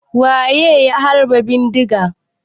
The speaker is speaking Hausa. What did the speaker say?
Waye ya harba bindiga?